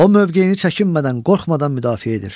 O mövqeyini çəkinmədən, qorxmadan müdafiə edir.